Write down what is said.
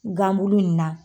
Ganbulu in na.